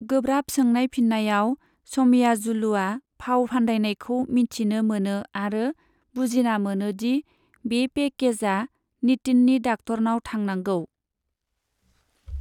गोब्राब सोंनाय फिन्नायाव, स'मयाजुलुआ फाव फान्दायनायखौ मिथिनो मोनो आरो बुजिना मोनो दि बे पेकेजआ नितिननि डाक्टरनाव थानांगौ।